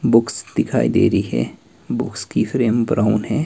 Books दिखाई दे रही है बुक्स की फ्रेम ब्राउन है।